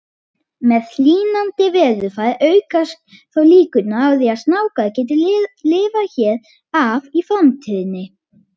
Með hlýnandi veðurfari aukast þó líkurnar á að snákar geti lifað hér af í framtíðinni.